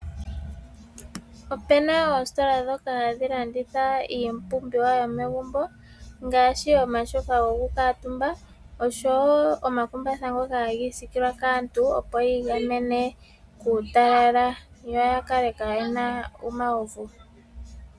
Opuna oositola nshoka hadhi landitha iipumbiwa yomegumbo ngaashi omatyofa go ku kuutumba oshowo omakumbatha ngoka hagi isiikolwa kaantu opo yi igamene kuutalala yo yakale kayena omauvu